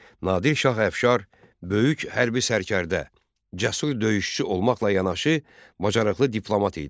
Nadir Şah Əfşar böyük hərbi sərkərdə, cəsur döyüşçü olmaqla yanaşı, bacarıqlı diplomat idi.